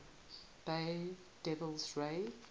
bay devil rays